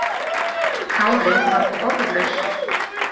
Kári varð orðlaus.